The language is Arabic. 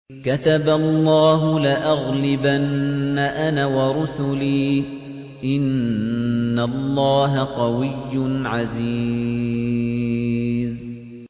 كَتَبَ اللَّهُ لَأَغْلِبَنَّ أَنَا وَرُسُلِي ۚ إِنَّ اللَّهَ قَوِيٌّ عَزِيزٌ